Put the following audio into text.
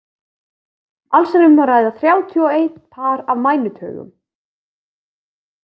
Alls er um að ræða þrjátíu og einn par af mænutaugum.